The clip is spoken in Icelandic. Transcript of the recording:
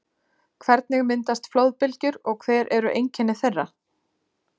Hvernig myndast flóðbylgjur og hver eru einkenni þeirra?